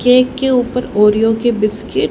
cake के ऊपर Oreo के बिस्किट --